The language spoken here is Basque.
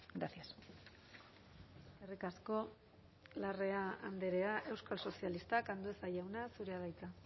gracias eskerrik asko larrea andrea euskal sozialistak andueza jauna zurea da hitza